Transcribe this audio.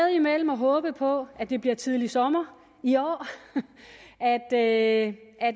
mellem at håbe på at det bliver tidligt sommer i år og at at